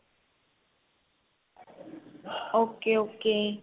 okay okay